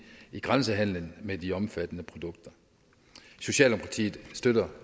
i grænsehandelen med de omfattede produkter socialdemokratiet støtter